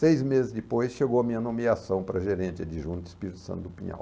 Seis meses depois, chegou a minha nomeação para gerente adjunto Espírito Santo do Pinhal.